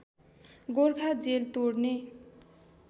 Gorkha jail तोड्ने